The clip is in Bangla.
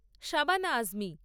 শাবানা আজমি